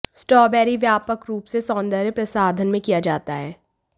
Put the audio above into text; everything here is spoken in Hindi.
स्ट्रॉबेरी व्यापक रूप से सौंदर्य प्रसाधन में किया जाता है